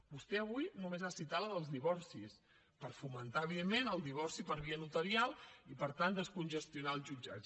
vostè avui només ha citat la dels divorcis per fomentar evidentment el divorci per via notarial i per tant descongestionar els jutjats